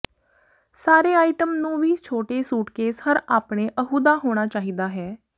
ਸਾਰੇ ਆਈਟਮ ਨੂੰ ਵੀ ਛੋਟੇ ਸੂਟਕੇਸ ਹਰ ਆਪਣੇ ਅਹੁਦਾ ਹੋਣਾ ਚਾਹੀਦਾ ਹੈ